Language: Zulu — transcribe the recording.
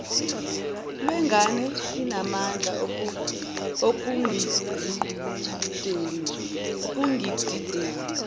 lwengane inamandla ekudingideni